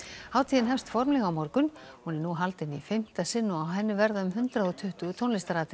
hátíðin hefst formlega á morgun hún er nú haldin í fimmta sinn og á henni verða um hundrað og tuttugu tónlistaratriði